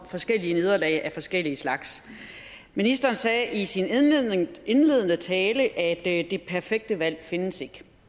forskellige nederlag af forskellige slags ministeren sagde i sin indledende tale at det perfekte valg ikke findes